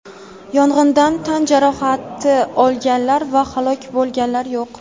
Yong‘indan tan jarohati olganlar va halok bo‘lganlar yo‘q.